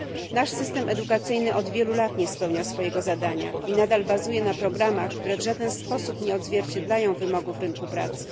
Nasz system edukacyjny od wielu lat nie spełnia swojego zadania i nadal bazuje na programach, które w żaden sposób nie odzwierciedlają wymogów rynku pracy.